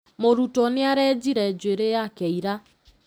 Mũrutwo nĩarenjire njuĩri yake ira